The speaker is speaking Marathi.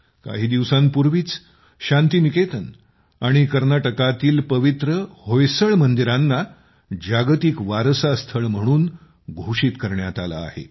काही दिवसांपूर्वीच शांतीनिकेतन आणि कर्नाटकातील पवित्र होयसडा मंदिरांना जागतिक वारसा स्थळ म्हणून घोषित करण्यात आले आहे